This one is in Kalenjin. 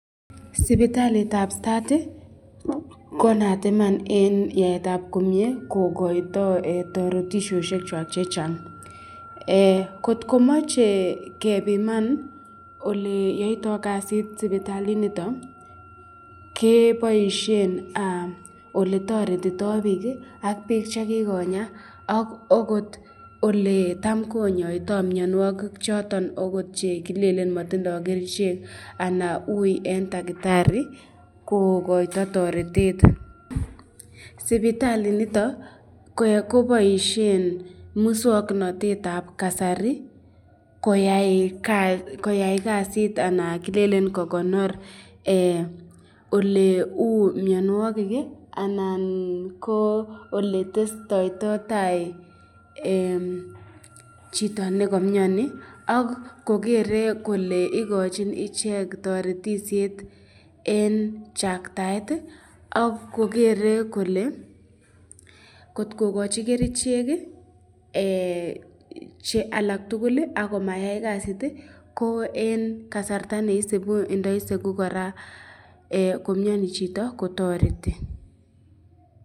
Sipitalitab Start ko naat iman en yaetab komyee kogoito toretisiosiekwak chechang. Kotko moche kebiman ole yoito kasit sipitalinito keboishen ole toretito biik ak biik che kigonya ak ogot ole tam konyoito mianwogik choton ogot che kilelen motindo kerichek anan uiy en tagitari kogoito toretet. Sipitalinito koboishen muswoknatet ab kasari koyai kasit anan kilelen kogonor ole uu mianwogik anan ko ole testoito tai chito ne ko miani ak kogere kole igochin ichek toretishet en chaktaet ak kogere kole kotkogochi kerichek che alak tugul ak komayai kasit ko en kasarta ne isibu ndo isegu kora komiani chito kotoreti.